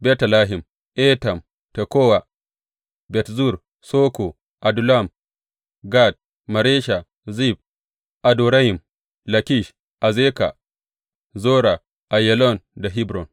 Betlehem, Etam, Tekowa, Bet Zur, Soko, Adullam, Gat, Maresha, Zif, Adorayim, Lakish, Azeka, Zora, Aiyalon da Hebron.